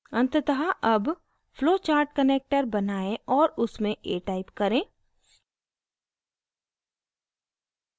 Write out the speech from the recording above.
अंततः अब flowchartconnector बनाएं और उसमें a type करें